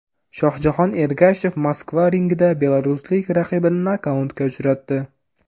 Shohjahon Ergashev Moskva ringida belaruslik raqibini nokautga uchratdi.